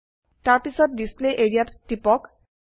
তাৰপিছত display area ত টিপক